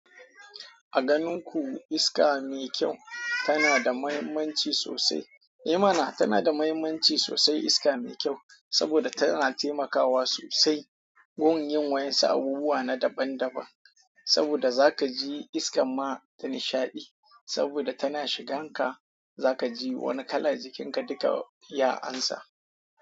A ganin ku iska mai kyau tana da mahimmanci sosai. I mana! Tana da mahimmanci sosai iska mai kyau saboda tana taimakawa sosai wurin yin wayansu abubuwa na daban daban. Saboda za ka ji iskan ma ta nishaɗi saboda tana shigan ka. Zakaji wani kala jikin ka duka ya amsa.